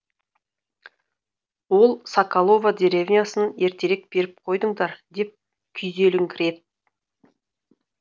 ол соколово деревнясын ертерек беріп қойдыңдар деп күйзеліңкіреді